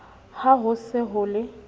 ha ho se ho le